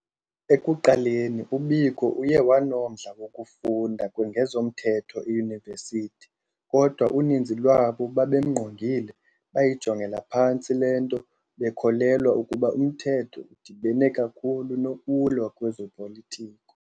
Ekuqaleni u-Biko uye wanomdla wokufunda ngezomthetho eyunivesithi, kodwa uninzi lwabo babemngqongile bayijongela phantsi lento, bekholelwa ukuba umthetho udibene kakhulu nokulwa kwezopolitiko.